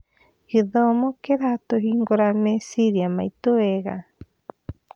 Gĩthomo kĩratũhingũra meciria maitũ wega.